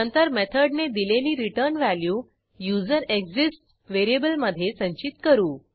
नंतर मेथडने दिलेली रिटर्न व्हॅल्यू युझरेक्सिस्ट्स व्हेरिएबलमधे संचित करू